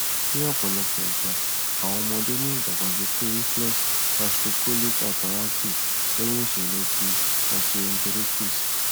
ni ọpọlọpọ igba awọn ọmọde ni idagbasoke reflex gastrocolic hyperactive lẹhin iṣẹlẹ ti gastroenteritis